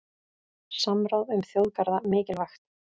Samráð um þjóðgarða mikilvægt